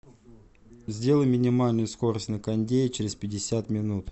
сделай минимальную скорость на кондее через пятьдесят минут